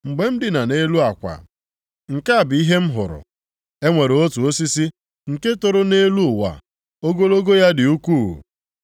Mgbe m dina nʼelu akwa, nke a bụ ihe m hụrụ. E nwere otu osisi nke toro nʼetiti ụwa, ogologo + 4:10 Maọbụ, ịdị elu ya ya dị ukwuu.